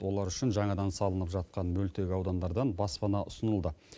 олар үшін жаңадан салынып жатқан мөлтек аудандардан баспана ұсынылды